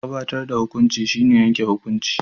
Gabatar da hukunci shine yanke hukunci.